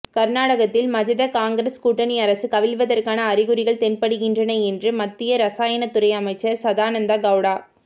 கர்நாடகத்தில் மஜதகாங்கிரஸ் கூட்டணி அரசு கவிழ்வதற்கான அறிகுறிகள் தென்படுகின்றன என்று மத்திய ரசாயனத் துறை அமைச்சர் சதானந்த கெளடா